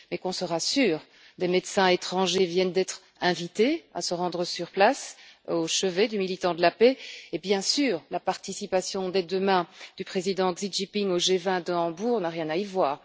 Mais, qu'on se rassure, des médecins étrangers viennent d'être invités à se rendre sur place au chevet du militant de la paix et, bien sûr, la participation, dès demain, du président Xi Jinping au G20 de Hambourg n'a rien à y voir.